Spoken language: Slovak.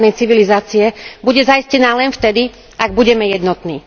západnej civilizácie bude zaistená len vtedy, ak budeme jednotní.